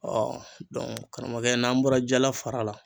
karamɔgɔkɛ n'an bɔra jala fara la